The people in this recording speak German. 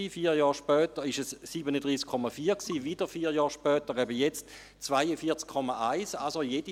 Vier Jahre später waren es 37,4 Prozent, wieder vier Jahr später, eben jetzt, 42,1 Prozent.